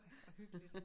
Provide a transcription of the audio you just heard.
Hvor hyggeligt